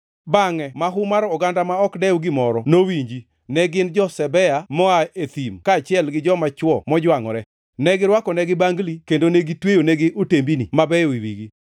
“Bangʼe mahu mar oganda ma ok dew gimoro nowinjo; ne gin jo-Sebea moa e thim kaachiel gi joma chwo mojwangʼore. Ne girwakonegi bangli kendo ne gitweyonegi otembini mabeyo e wigi.